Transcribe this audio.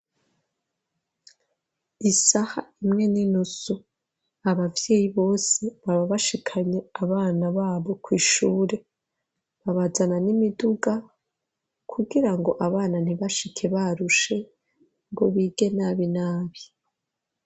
Isaha imwe n'inusu abavyeyi bose baba bashikanye abana babo kw'ishure babazana n'imiduga kugira ngo abana ntibashike barushe ngo bige nabi nabi.